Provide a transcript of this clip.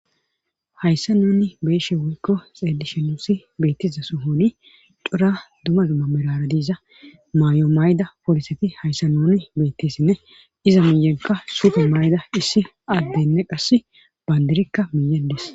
Hayssa nuni beeshe woykko xeedishenusi beettiza sohoni cora duma dumma mirara diiza maayo may7da poliseti hayssa nuni bettissinne iza miyenka suuta mayda issi addenne qass bandirikka miyedes